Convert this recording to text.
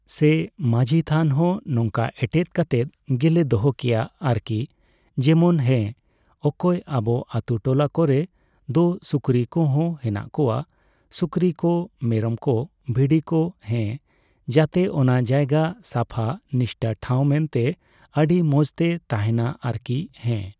ᱥᱮ ᱢᱟᱹᱡᱷᱤ ᱛᱷᱟᱱ ᱦᱚᱸ ᱱᱚᱝᱠᱟ ᱮᱴᱮᱛ ᱠᱟᱛᱮᱫ ᱜᱮᱞᱮ ᱫᱚᱦᱚ ᱠᱮᱭᱟ ᱟᱨᱠᱤ ᱾ ᱡᱮᱢᱚᱱ, ᱦᱮᱸ ᱚᱠᱚᱭ, ᱟᱵᱚ ᱟᱹᱛᱩ ᱴᱚᱞᱟ ᱠᱚᱨᱮ ᱫᱚ ᱥᱩᱠᱨᱤ ᱠᱚᱦᱚᱸ ᱦᱮᱱᱟᱜ ᱠᱚᱣᱟ ᱾ ᱥᱩᱠᱨᱤ ᱠᱚ, ᱢᱮᱨᱚᱢ ᱠᱚ ᱵᱷᱤᱰᱤ ᱠᱚ ᱦᱮᱸ ᱾ ᱡᱟᱛᱮ ᱚᱱᱟ ᱡᱟᱭᱜᱟ ᱥᱟᱯᱷᱟ ᱱᱤᱥᱴᱟᱹ ᱴᱷᱟᱣ ᱢᱮᱱᱛᱮ ᱟᱹᱰᱤ ᱢᱚᱸᱡᱽᱛᱮ ᱛᱟᱦᱮᱱᱟ ᱟᱨᱠᱤ, ᱦᱮᱸ᱾